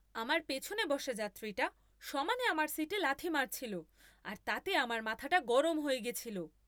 আমার পেছনে বসা যাত্রীটা সমানে আমার সিটে লাথি মারছিল আর তাতে আমার মাথাটা গরম হয়ে গেছিল।